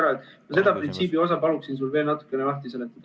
Ma palun sul seda printsiipi veel natukene lahti seletada.